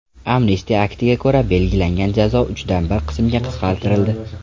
Amnistiya aktiga ko‘ra belgilangan jazo uchdan bir qismga qisqartirildi.